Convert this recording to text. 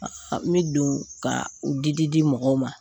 N mi don ka u di di di mɔgɔw ma.